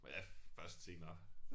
Men det først senere